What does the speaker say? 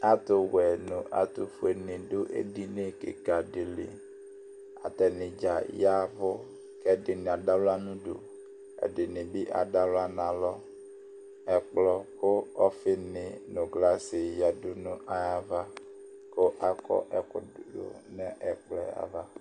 Ɛtuwɛ nu ɛtufue ni du ɛdini kika di li Atani dza ya ɛvu ku ɛdini adu ɣla nu udu ku ɛdini bi adu aɣla nu alɔ Ɛkplɔ ku ɔfini nu kɔkɔm nyuia ɔfi ni ya nu ava ku akɔ ɛku ya nu ɛkplɔ yɛ ava